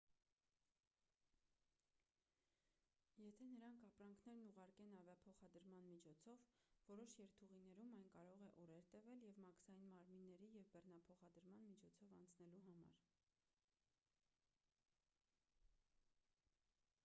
եթե նրանք ապրանքներն ուղարկեն ավիափոխադրման միջոցով որոշ երթուղիներում այն կարող է օրեր տևել մաքսային մարմինների և բեռնաթափման միջոցով անցնելու համար